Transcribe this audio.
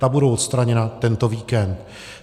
Ta budou odstraněna tento víkend.